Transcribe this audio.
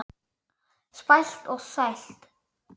Spæld og þvæld.